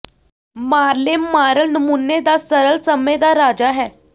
ਮਾਰਲੇ ਮਾਰਲ ਨਮੂਨੇ ਦਾ ਸਰਲ ਸਮੇਂ ਦਾ ਰਾਜਾ ਹੈ